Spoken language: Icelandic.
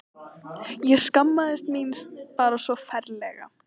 Ég skammaðist mín bara svo ferlega.